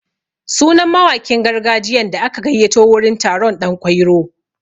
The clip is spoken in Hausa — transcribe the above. Sunan mawakin gargajiyan da aka gayyato wurin taron ɗan kwairo.